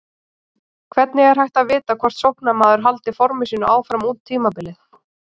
Hvernig er hægt að vita hvort sóknarmaður haldi forminu sínu áfram út tímabilið?